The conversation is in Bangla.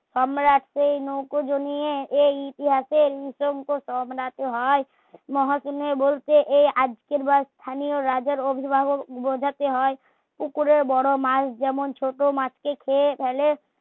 সম্রাট এই নৌকো এই ইতিহাসের সম্রাট হয় বলতে এই আজকের বা স্থানীয় রাজার অভিভাবক বোঝাতে হয় পুকুরের বড়ো মাছ যেমন ছোট মাছ কে খেয়ে ফেলে